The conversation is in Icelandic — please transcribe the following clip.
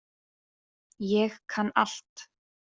Ég kann allt.